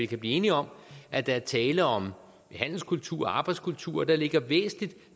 kan blive enige om at der er tale om handelskulturer og arbejdskulturer der ligger væsentlig